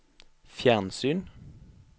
fjernsyn